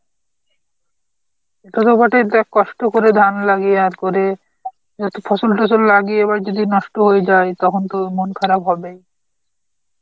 দেখ কষ্ট করে ধান লাগিয়ে আর করে অত ফসল টসল লাগিয়ে এবার যদি নষ্ট হয়ে যায় তখন তো মন খারাপ হবেই.